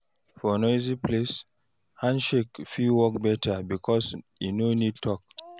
For noisy place, handshake fit work better because e no need talk.